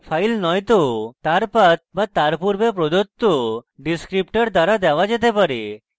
file নয়তো তার path be তার পূর্বে প্রদত্ত ডিসক্রিপটার দ্বারা দেওয়া যেতে পারে